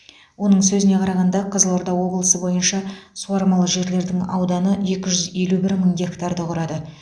оның сөзіне қарағанда қызылорда облысы бойынша суармалы жерлердің ауданы екі жүз елу бір мың гектарды құрады